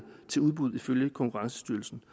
til udbud ifølge konkurrencestyrelsen